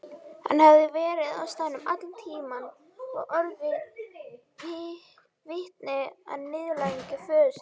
Hann hafði verið á staðnum allan tíman og orðið vitni að niðurlægingu föður síns.